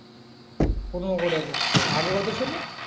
পনেরো করে নিচ্ছে আগে কত ছিল?